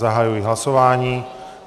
Zahajuji hlasování.